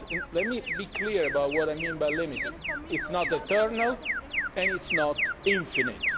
Let me be clear about what I mean by limited. It is not eternal and it is not infinite.